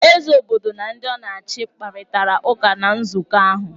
Eze obodo na ndị ọ na-achị kparịtara ụka na nzụkọ ahụ.